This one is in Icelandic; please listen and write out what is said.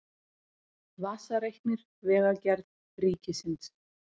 Vasareiknir Vegagerð Ríkisins